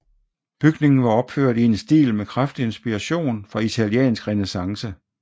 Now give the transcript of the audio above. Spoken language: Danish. Bygningen var opført i en stil med kraftig inspiration fra italiensk renæssance